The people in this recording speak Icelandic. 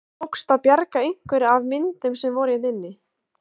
Tókst að bjarga einhverju af myndum sem voru hérna inni?